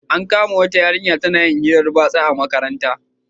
An kama wata ta na yin hiran batsa a makaranta